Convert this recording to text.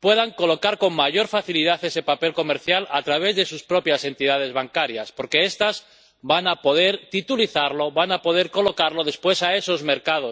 puedan colocar con mayor facilidad ese papel comercial a través de sus propias entidades bancarias, porque estas van a poder titulizarlo, van a poder colocarlo después en esos mercados